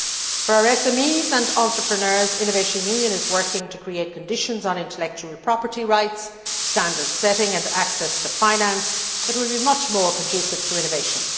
For our small and medium sized enterprises and entrepreneurs, Innovation Union is working to create conditions on intellectual property rights standard setting and access to finance that will be much more conducive to innovation.